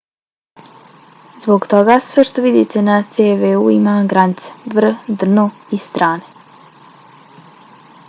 zbog toga sve što vidite na tv-u ima granice vrh dno i strane